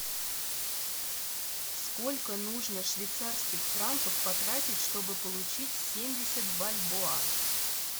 сколько нужно швейцарских франков потратить чтобы получить семьдесят бальбоа